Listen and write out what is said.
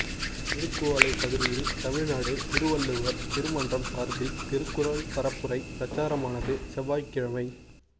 திருக்குவளை பகுதியில் தமிழ்நாடு திருவள்ளுவா் திரு மன்றம் சாா்பில் திருக்குறள் பரப்புரை பிரச்சாரமானது செவ்வாய்க்கிழமை